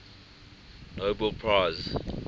nobel prize